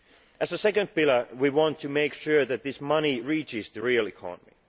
As a second pillar, we want to make sure that this money reaches the real economy.